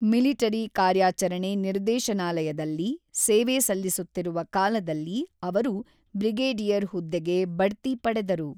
Military ಕಾರ್ಯಾಚರಣೆ ನಿರ್ದೇಶನಾಲಯದಲ್ಲಿ ಸೇವೆ ಸಲ್ಲಿಸುತ್ತಿರುವ ಕಾಲದಲ್ಲಿ ಅವರು ಬ್ರಿಗೇಡಿಯರ್ ಹುದ್ದೆಗೆ ಬಡ್ತಿ ಪಡೆದರು.